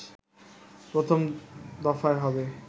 প্রথম দফায় হবে